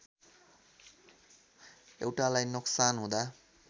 एउटालाई नोक्सान हुँदा